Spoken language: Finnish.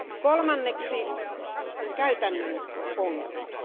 Kolmanneksi ovat käytännön ongelmat.